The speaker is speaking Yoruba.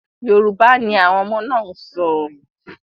Yorùbá ni àwọn ọmọ náà ǹ sọ.